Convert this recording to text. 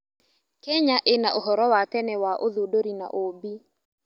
Kenya ĩna ũhoro wa tene wa ũthundũri na ũũmbi.